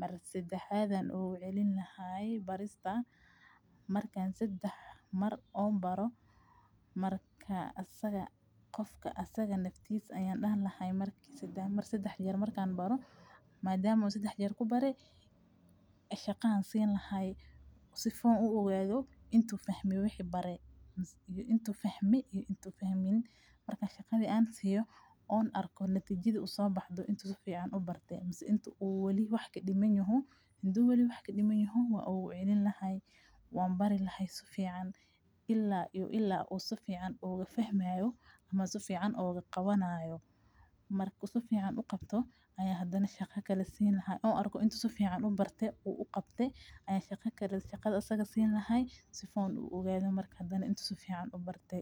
mar sadexad ayan ogucelini lahay marka sadex mar baro aya marka asaga naftisa dihi laha madama an kubare shaqo ayan sini lahay sifa an kufahmo wixi an bare intu fahme ama uu fahmin marka shaqada siyo ha arko natijada sobaxde inu wax kadiman wa ogucelini lahay wan bari lahay sifican ila uu fahmayo ama oguqawanayo marku sifacn uqabto ayan shaqo kale sini lahay sifan uogado intu sifan ubarte.